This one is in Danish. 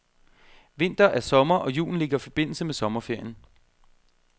Vinter er sommer, og julen ligger i forbindelse med sommerferien.